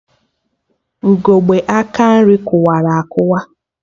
Ugegbe aka nri kụwara akụwa